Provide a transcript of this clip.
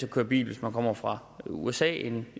at køre bil hvis man kommer fra usa end